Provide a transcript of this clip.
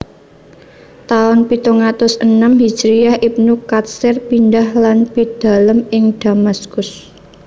Taun pitung atus enem hijriyah Ibnu Katsir pindhah lan pidalem ing Damaskus